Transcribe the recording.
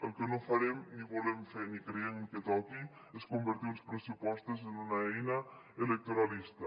el que no farem ni volem fer ni creiem que toqui és convertir uns pressupostos en una eina electoralista